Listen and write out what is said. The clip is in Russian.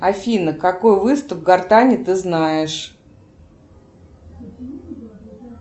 афина какой выступ гортани ты знаешь